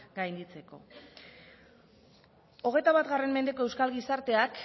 gainditzeko hogeita bat mendeko euskal gizarteak